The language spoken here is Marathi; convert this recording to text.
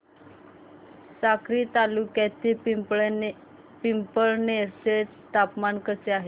साक्री तालुक्यातील पिंपळनेर चे तापमान कसे आहे